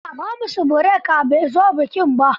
A'a, Hamisu Breaker bai zo bikin ba.